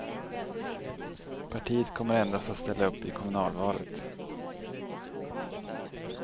Partiet kommer endast att ställa upp i kommunalvalet.